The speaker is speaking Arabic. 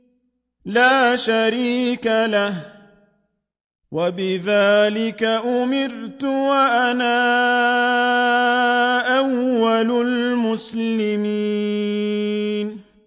لَا شَرِيكَ لَهُ ۖ وَبِذَٰلِكَ أُمِرْتُ وَأَنَا أَوَّلُ الْمُسْلِمِينَ